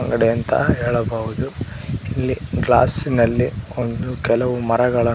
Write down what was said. ಒಳಗಡೆ ಅಂತ ಹೇಳಬಹುದು ಇಲ್ಲಿ ಗ್ಲಾಸ ನಲ್ಲಿ ಒಂದು ಕೆಲವು ಮರಗಳನ್ನು --